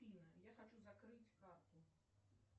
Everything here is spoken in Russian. афина я хочу закрыть карту